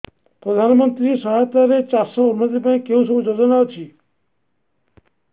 ପ୍ରଧାନମନ୍ତ୍ରୀ ସହାୟତା ରେ ଚାଷ ର ଉନ୍ନତି ପାଇଁ କେଉଁ ସବୁ ଯୋଜନା ଅଛି